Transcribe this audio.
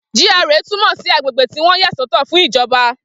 G.R.A túmọ̀ sí agbègbè tí wọ́n yàsọ́tọ̀ fún ìjọba